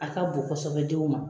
A ka bon kɔsɛbɛ denw ma.